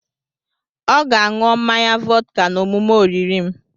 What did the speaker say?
Ọ ga a ṅụọ mmanya vọdka na omume oriri m.